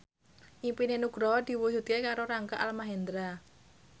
impine Nugroho diwujudke karo Rangga Almahendra